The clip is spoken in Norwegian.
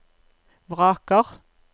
vraker